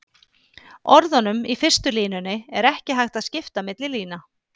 Orðunum í fyrstu línunni er ekki hægt að skipta milli lína.